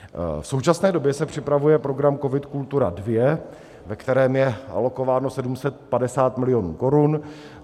V současné době se připravuje program COVID - Kultura II, ve kterém je alokováno 750 milionů korun.